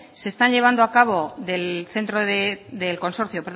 se está llevando a cabo